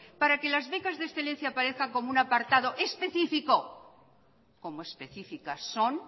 para que las becas de excelencia aparezcan como un apartado específico como específicas son